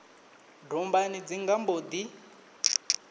dombani dzi nga mbo ḓi